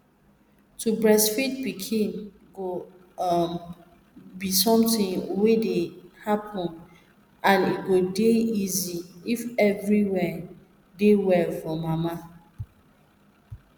to breastfeed pikin go um be something wey dey happen and e go dey easy if everywhere dey well for mama